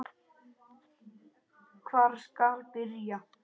Hvar skal byrja?